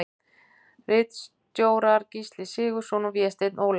Ritstjórar Gísli Sigurðsson og Vésteinn Ólason.